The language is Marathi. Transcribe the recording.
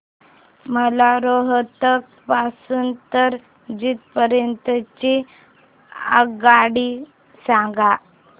मला रोहतक पासून तर जिंद पर्यंत ची आगगाडी सांगा